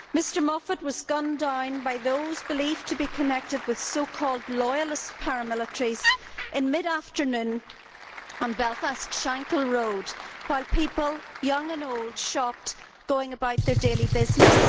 Mr Moffat was gunned down by those believed to be connected with so called Loyalist paramilitaries in mid afternoon on Belfast's Shankhill Road while people, young and old, shopped, going about their daily business.